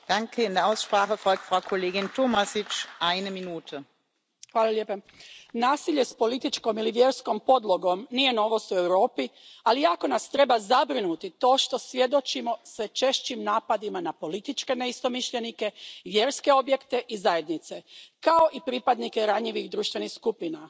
Poštovana predsjedavajuća, nasilje s političkom ili vjerskom podlogom nije novost u Europi, ali jako nas treba zabrinuti to što svjedočimo sve češćim napadima na političke neistomišljenike, vjerske objekte i zajednice, kao i pripadnike ranjivih društvenih skupina.